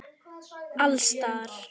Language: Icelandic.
Alls staðar.